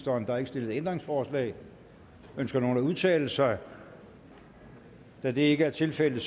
der er ikke stillet ændringsforslag ønsker nogen at udtale sig da det ikke er tilfældet